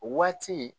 O waati